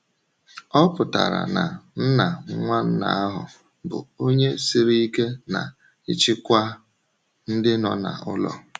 “O pụtara na um nna nwanna ahụ bụ onye siri ike n’ịchịkwa ndị nọ n’ụlọ.”